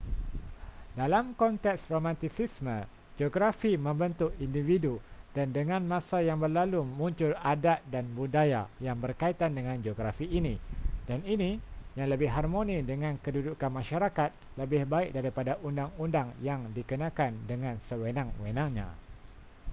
dalam konteks romantisisme geografi membentuk individu dan dengan masa yang berlalu muncul adat dan budaya yang berkaitan dengan geografi ini dan ini yang lebih harmoni dengan kedudukan masyarakat lebih baik daripada undang-undang yang dikenakan dengan sewenang-wenangnya